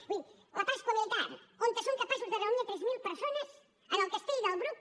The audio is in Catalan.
vull dir la pasqua militar on són capaços de reunir tres mil persones al castell del bruc